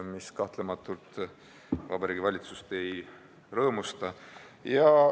See kahtlemata Vabariigi Valitsust ei rõõmusta.